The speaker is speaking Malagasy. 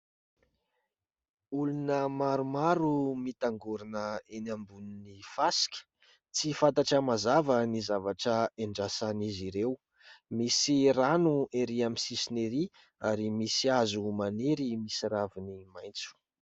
Olona maromaro mitangorona eny ambon'ny fasika ,tsy fantatra mazava ny zavatra endrasan'izy ireo ;misy rano erỳ amin'ny sisiny ery ,ary misy hazo maniry misy raviny maitso.